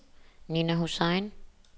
Nina Hussain